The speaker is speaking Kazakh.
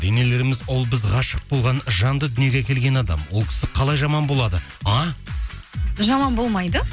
енелеріміз ол біз ғашық болған жанды дүниеге әкелген адам ол кісі қалай жаман болады а жаман болмайды